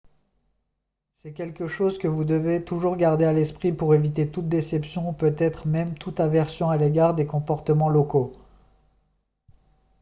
c'est quelque chose que vous devez toujours garder à l'esprit pour éviter toute déception ou peut-être même toute aversion à l'égard des comportements locaux